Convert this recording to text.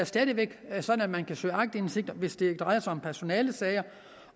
stadig væk er sådan at man kan søge aktindsigt hvis det drejer sig om personalesager